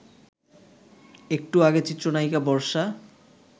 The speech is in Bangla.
একটু আগে চিত্রনায়িকা বর্ষা